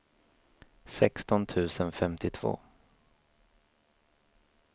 sexton tusen femtiotvå